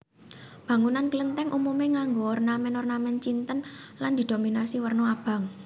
Bangunan Klenthèng umume nganggo ornamen ornamen Cinten lan didominasi werna abang